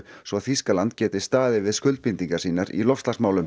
svo Þýskaland geti staðið við skuldbindingar sínar í loftslagsmálum